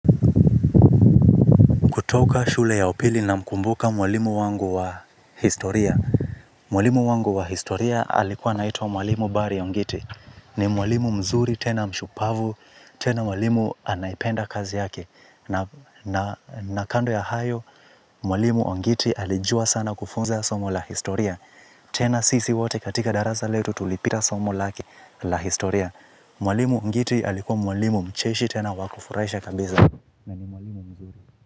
Kutoka shule ya upili namkumbuka mwalimu wangu wa historia. Mwalimu wangu wa historia alikuwa anaitwa mwalimu bari ongiti. Ni mwalimu mzuri tena mshupavu, tena mwalimu anayependa kazi yake. Na kando ya hayo, mwalimu ongiti alijua sana kufunza somo la historia. Tena sisi wote katika darasa letu tulipita somo lake la historia. Mwalimu ongiti alikuwa mwalimu mcheshi tena wakufurahisha kabisa.